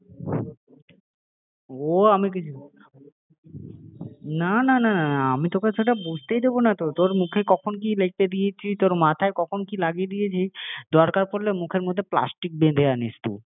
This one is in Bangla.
আমি বলে দিলাম যদি এবার হয়েছে? ও আমি কিছু জানি না না না না আমি সেটা তো বুঝতেই দেব না তো, তোর মুখে কখন কি লেপে দিয়েছি তোর মাথায় কখন কি লাগিয়ে দিয়েছি, দরকার পড়লে মুখের ভিতরে প্লাষ্টিক বেঁধে আনিস তুই